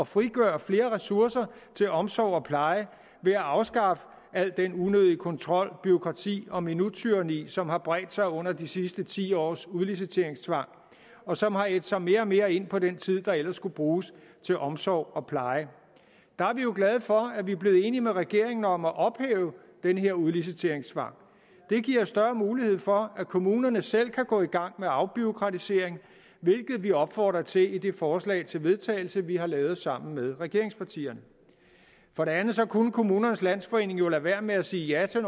frigøre flere ressourcer til omsorg og pleje ved at afskaffe al den unødige kontrol bureaukrati og minuttyranni som har bredt sig under de sidste ti års udliciteringstvang og som har ædt sig mere og mere ind på den tid der ellers skulle bruges til omsorg og pleje der er vi jo glade for at vi er blevet enige med regeringen om at ophæve den her udliciteringstvang det giver større mulighed for at kommunerne selv kan gå i gang med afbureaukratisering hvilket vi opfordrer til i det forslag til vedtagelse vi har lavet sammen med regeringspartierne for det andet kunne kommunernes landsforening jo lade være med at sige ja til